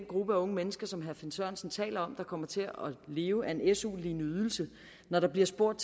gruppe af unge mennesker som herre finn sørensen taler om kommer til at leve af en su lignende ydelse når vi bliver spurgt